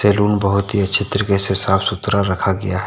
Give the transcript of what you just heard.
Salon बहुत ही अच्छे तरीके से साफ सुथरा रखा गया है।